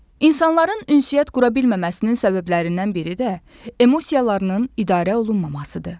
İnsanların ünsiyyət qura bilməməsinin səbəblərindən biri də emosiyalarının idarə olunmamasıdır.